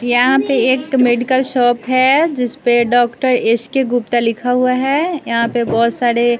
यहां पे एक मेडिकल शॉप है जिस पे डॉक्टर एस_के गुप्ता लिखा हुआ है यहां पे बहोत सारे--